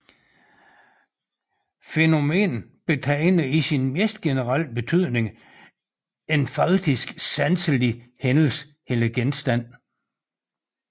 Fænomen betegner i sin mest generelle betydning en faktisk sanselig hændelse eller genstand